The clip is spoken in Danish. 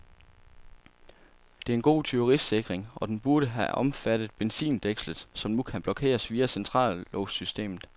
Det er en god tyverisikring, og den burde have omfattet benzindækslet, som nu kun blokeres via centrallåssystemet.